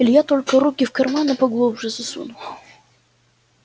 илья только руки в карманы поглубже засунул